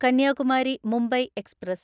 Kanyakumari Mumbai express